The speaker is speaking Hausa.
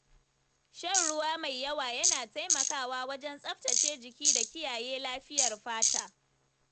Shan ruwa mai yawa yana taimakawa wajen tsaftace jiki da kiyaye lafiyar fata.